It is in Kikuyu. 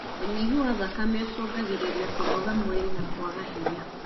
ũnyihu wa thakame ũcungagĩrĩria kũnoga mwĩrĩ na kwaga hinya.